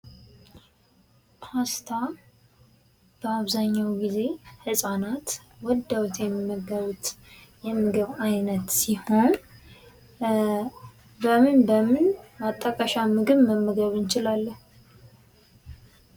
ፓስታ በአብዛኛው ጊዜ ህጻናት ወደውት የሚመገቡት የምግብ አይነት ሲሆን በምን በምን ማጣቀሻ ምግብ መመገብ እንችላለን?